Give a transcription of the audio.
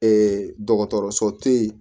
dɔgɔtɔrɔso te yen